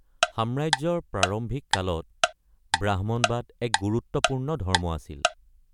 সাম্ৰাজ্যৰ প্ৰাৰম্ভিক কালত ব্ৰাহ্মণবাদ এক গুৰুত্বপূৰ্ণ ধৰ্ম আছিল।